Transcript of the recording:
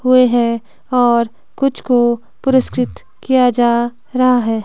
हुए हैं और कुछ को पुरस्कृत किया जा रहा है।